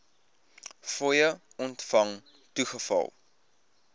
fooie ontvang toegeval